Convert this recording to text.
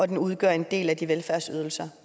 det udgør en del af velfærdsydelserne